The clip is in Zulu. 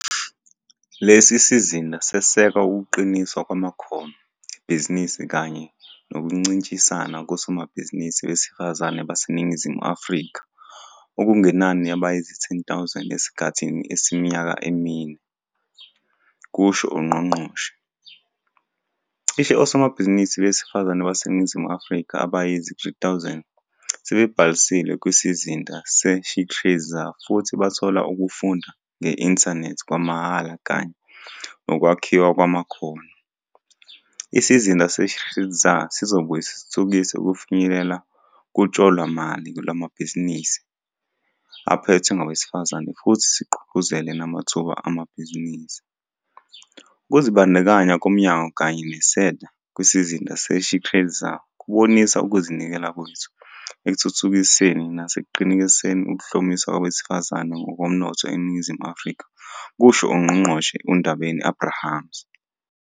Lesi sizinda seseka ukuqiniswa kwamakhono ebhizinisi kanye nokuncintisana kosomabhizinisi besifazane baseNingizimu Afrika okungenani abayizi-10 000 esikhathini esiyiminyaka emine," kusho ungqongqoshe. Cishe osomabhizinisi besifazane baseNingizimu Afrika abayizi-3 000 sebebhalisile kwiSizinda se-SheTradesZA futhi bathola ukufunda nge-inthanethi kwamahhala kanye nokwakhiwa kwamakhono. Isizinda se-SheTradesZA sizobuye sithuthukise ukufinyelela kutshalomali lwamabhizinisi aphethwe ngabesifazane futhi sigqugquzele namathuba amabhizinisi. "Ukuzibandakanya komnyango kanye no-SEDA kwiSizinda se-SheTradesZA kubonisa ukuzinikela kwethu ekuthuthukiseni nasekuqinisekiseni ukuhlomiswa kwabesifazane ngokomnotho eNingizimu Afrika," kusho uNgqongqoshe uNdabeni-Abrahams.